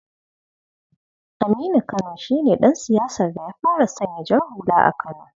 Aminu Kano shi ne dan siyasar da ya fara sanya jar hula a kano.